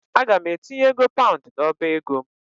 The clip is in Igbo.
Aga m etinye ego paund n'ọba ego m.